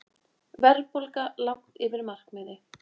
Verðbólga langt yfir markmiði